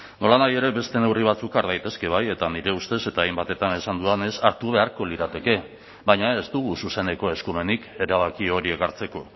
nolanahi ere beste neurri batzuk har daitezke bai eta nire ustez eta hainbatetan esan dudanez hartu beharko lirateke baina ez dugu zuzeneko eskumenik erabaki horiek hartzeko